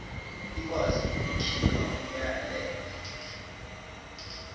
ikwazi ukukhipha umyalelo